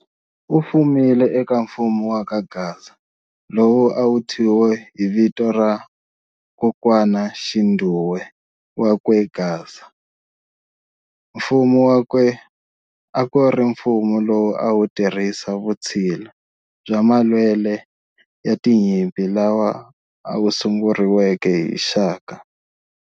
Ufumile eka mfumo wa ka Gaza, lowu a wuthyiwe hi vito ra kokwanaxindhuwe wakwe Gasa. Mfumo wakwe akuri mfumo lowu a wutirhisa vutshila bya malwele ya tinyimpi lawa masunguriweke hi Shaka.